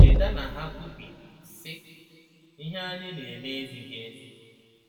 Cheta na ha kwubiri, sị: “Ihe anyị na-eme ezighị ezi.”